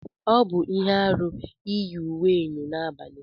Ọ bụ ihe aru iyi uwe eyọ n'abalị.